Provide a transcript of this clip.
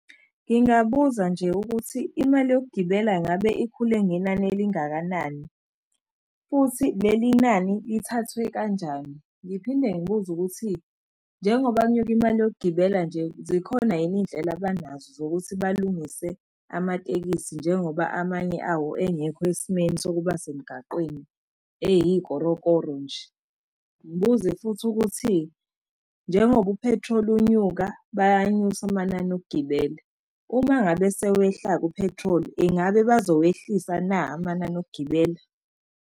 Ngingabuza nje ukuthi, imali yokugibela ngabe ikhule ngenani elingakanani, futhi leli nani, lithathwe kanjani? Ngiphinde ngibuze ukuthi, njengoba kunyuke imali yokugibela nje, zikhona yini iy'ndlela abanazo zokuthi balungise amatekisi njengoba amanye awo engekho esimeni sokuba semigaqweni eyikorokoro nje? Ngibuze futhi ukuthi, njengoba u-petrol unyuka bayanyusa amanani okugibela, uma ngabe sewehla-ke u-petrol ingabe bazowehlisela na amanani okugibela?